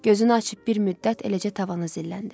Gözünü açıb bir müddət eləcə tavana zilləndi.